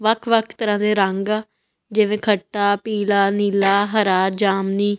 ਵੱਖ ਵੱਖ ਤਰ੍ਹਾਂ ਦੇ ਰੰਗ ਆ ਜਿਵੇਂ ਖੱਟਾ ਪੀਲਾ ਨੀਲਾ ਹਰਾ ਜਾਮਨੀ--